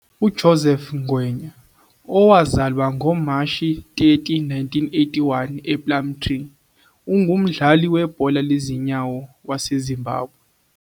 UJoseph Ngwenya, owazalwa ngoMashi 30, 1981 ePlumtree, ungumdlali webhola lezinyawo waseZimbabwe.